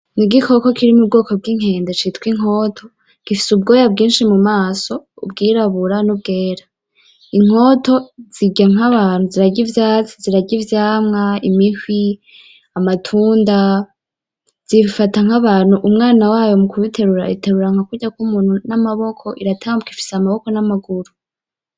Ni igikoko kiri mu bwoko bw'inkende citwa Inkoto. Gifise ubwoya bwinshi mu maso, ubwirabura n'ubwera. Inkoto zirya nk'abantu: zirarya ivyatsi, zirarya ivyamwa, imihwi, amatunda. Zifata nk'abantu, umwana wayo mu kumuterura, imuterura nk'uko umuntu amuterura n'amaboko. Iratambuka, ifise amaboko n'amaguru.